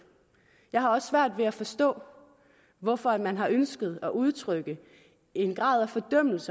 jeg har også svært ved at forstå hvorfor man har ønsket at udtrykke en grad af fordømmelse